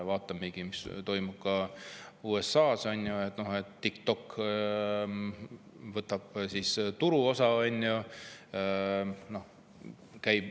Vaatame, mis toimub USA-s, kus TikTok võtab endale turuosa.